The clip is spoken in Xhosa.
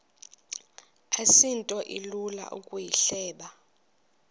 asinto ilula ukuyihleba